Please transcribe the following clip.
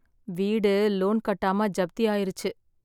வீடு லோன் கட்டாம ஜப்தி ஆயிருச்சு